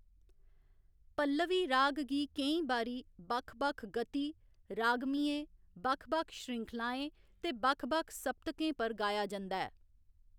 पल्लवी राग गी केईं बारी बक्ख बक्ख गति, रागमियें बक्ख बक्ख श्रृंखलाएं ते बक्ख बक्ख सप्तकें पर गाया जंदा ऐ।